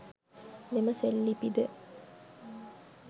මෙම සෙල්ලිපිද